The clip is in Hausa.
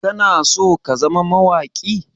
Kana so ka zama mawaƙi?